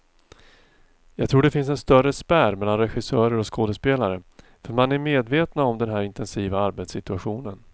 Jag tror det finns en större spärr mellan regissörer och skådespelare, för man är medvetna om den här intensiva arbetssituationen.